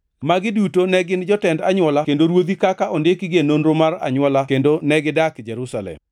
Magi duto ne gin jotend anywola kendo ruodhi kaka ondikgi e nonro mar anywola kendo negidak Jerusalem.